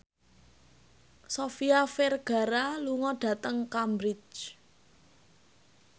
Sofia Vergara lunga dhateng Cambridge